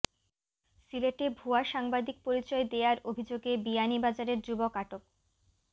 সিলেটে ভূয়া সাংবাদিক পরিচয় দেয়ার অভিযোগে বিয়ানীবাজারের যুবক আটক